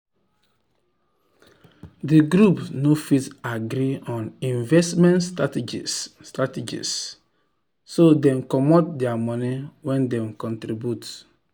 d group no fit agree on investment strategies strategies so dem comot dir money wen dem contribute.